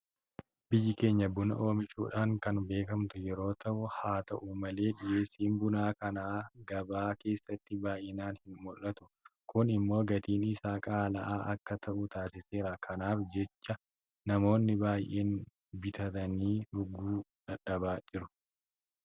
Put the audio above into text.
Biyyi keenya buna oomishuudhaan kan beekamtu yeroo ta'u; Haata'u malee dhiyeessiin buna kanaa gabaa keessatti baay'inaan hinmul'atu. Kun immoo gatiin isaa qaala'aa akka ta'u taasiseera. Kanaaf jecha namoonni baay'een bitatanii dhuguu dadhabaa jiru.